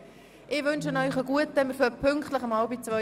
Wir beginnen heute Nachmittag pünktlich um 13.30 Uhr.